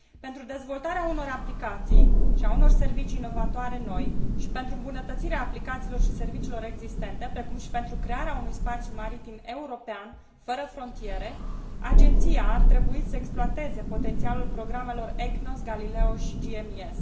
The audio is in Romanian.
Pentru dezvoltarea unor aplicații și a unor servicii inovatoare și pentru îmbunătățirea aplicațiilor și serviciilor existente, precum și pentru crearea unui spațiu maritim european, fără frontiere, Agenția ar trebui să exploateze potențialul programelor EGNOS, GALILEO și GMES.